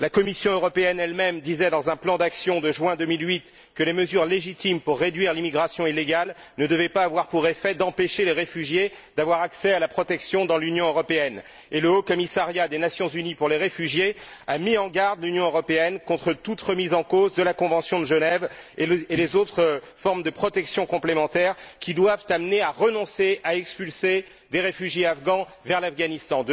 La Commission européenne elle même disait dans un plan d'action de juin 2008 que les mesures légitimes pour réduire l'immigration illégale ne devaient pas avoir pour effet d'empêcher les réfugiés d'avoir accès à la protection dans l'Union européenne, et le Haut commissariat des Nations unies pour les réfugiés a mis en garde l'Union européenne contre toute remise en cause de la Convention de Genève et des autres formes de protection complémentaires qui doivent amener à renoncer à expulser des réfugiés afghans vers l'Afghanistan.